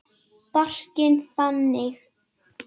Barkinn þaninn.